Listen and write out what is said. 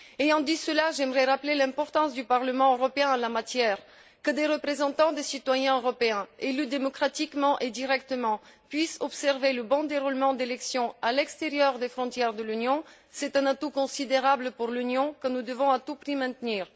En disant cela, j'aimerais rappeler l'importance du Parlement européen en la matière que des représentants des citoyens européens élus démocratiquement et directement puissent observer le bon déroulement d'élections à l'extérieur des frontières de l'Union est un atout considérable pour l'Union que nous devons à tout prix maintenir.